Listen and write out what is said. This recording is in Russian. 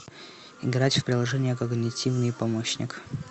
играть в приложение когнитивный помощник